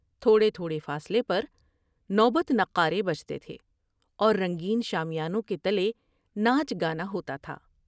تھوڑے تھوڑے فاصلے پر نوبت نقارے بجتے تھے اور رنگین شامیانوں کے تلے ناچ گانا ہوتا تھا ۔